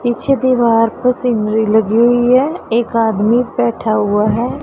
पिछे दीवार पर सीनरी लगी हुई है एक आदमी बैठा हुआ है।